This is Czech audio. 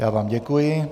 Já vám děkuji.